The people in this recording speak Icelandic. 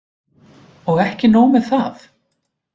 Og ekki nóg með það